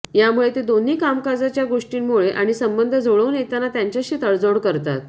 यामुळे ते दोन्ही कामकाजाच्या गोष्टींमुळे आणि संबंध जुळवून घेताना त्यांच्याशी तडजोड करतात